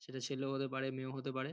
সেটা ছেলেও হতে পারে মেয়েও হতে পারে।